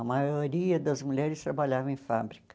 A maioria das mulheres trabalhava em fábrica.